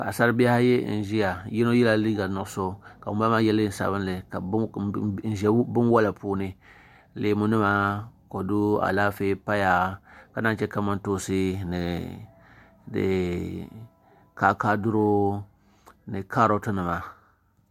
Paɣasari bihi ayi n ʒɛya yino yɛla liiga sabinli ka ŋunbala maa yɛ neen nuɣso n ʒɛ binwola puuni leemu nima kodu Alaafee paya ka naan chɛ kamantoosi ni kaakaadiro ni kaaroti nima